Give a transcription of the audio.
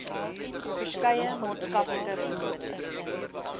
verskeie maatskaplike vennote